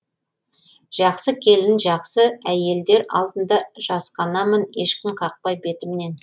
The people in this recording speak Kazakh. жақсы келін жақсы әйелдер алдында жасқанамын ешкім қақпай бетімнен